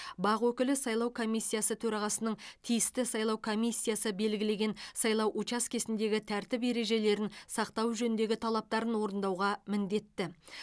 бақ өкілі сайлау комиссиясы төрағасының тиісті сайлау комиссиясы белгілеген сайлау учаскесіндегі тәртіп ережелерін сақтау жөніндегі талаптарын орындауға міндетті